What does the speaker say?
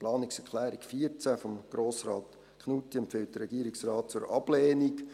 Die Planungserklärung 14 von Grossrat Knutti empfiehlt der Regierungsrat zur Ablehnung.